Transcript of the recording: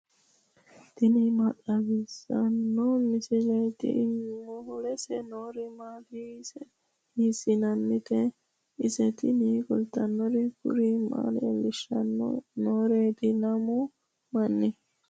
tini maa xawissanno misileeti ? mulese noori maati ? hiissinannite ise ? tini kultannori kuri maa leellishanno nooreeti lamu manni